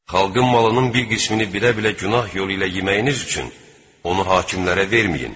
Xalqın malının bir qismini bilə-bilə günah yolu ilə yeməyiniz üçün onu hakimlərə verməyin.